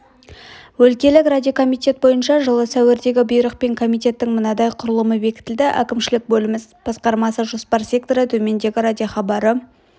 өлкелік радиокомитет бойынша жылы сәуірдегі бұйрықпен комитеттің мынадай құрылымы бекітілді әкімшілік бөлім іс басқармасы жоспар секторы төменгі радиохабары